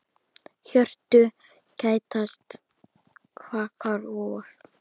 Hjörtu kætast, kvakar vor.